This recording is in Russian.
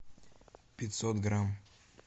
пятьсот грамм